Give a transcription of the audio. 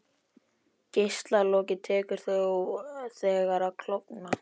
Geislakolið tekur þá þegar að klofna.